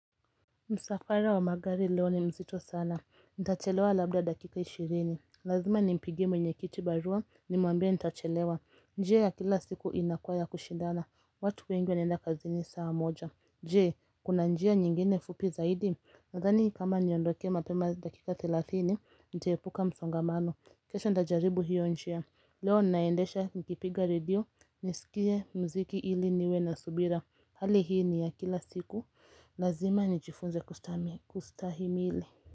Msafara wa magari leo ni mzito sana. Nitachelewa labda dakika ishirini. Lazima ni mpigie mwenye kiti barua nimwambie nitachelewa. Njia ya kila siku inakuwa ya kushindana. Watu wengi wanaenda kazi ni saa moja. Je, kuna njia nyingine fupi zaidi. Nadhani kama niondoke mapema dakika thelathini Nitahepuka msongamano. Kesho nitajaribu hiyo njia Leo ninaendesha nikipiga radio. Nisikie mziki ili niwe na subira. Hali hii ni ya kila siku. Lazima nijifunze kustahimili.